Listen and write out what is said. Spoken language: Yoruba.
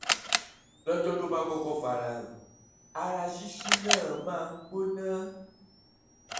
lọ́jọ́ tó bá kọ́kọ́ farahàn ara ṣíṣú náà máa ń gbóná